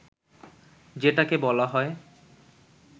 যেটাকে বলা হয়